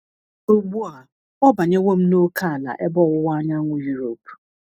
Ugbu a ọ banyewo m n’ókèala ebe ọwụwa anyanwụ Europe.